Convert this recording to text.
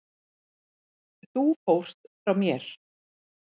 Þú fórst frá mér.